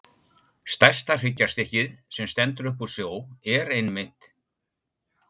Stærsta hryggjarstykkið, sem stendur upp úr sjó, er einmitt